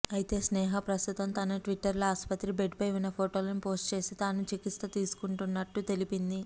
అయితే స్నేహ ప్రస్తుతం తన ట్విట్టర్లో ఆసుపత్రి బెడ్పై ఉన్న ఫోటోలని పోస్ట్ చేసి తాను చికిత్స తీసుకుంటున్నట్టు తెలిపింది